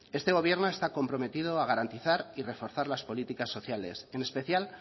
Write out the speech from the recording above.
este gobierno está comprometido a garantizar y reforzar las políticas sociales en especial